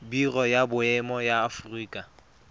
biro ya boemo ya aforika